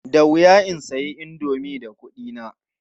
Da wuya in sayi indomi da kuɗina.